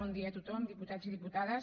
bon dia a tothom diputats i diputades